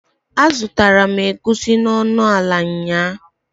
A zutara m Egusi n'onuala nyaa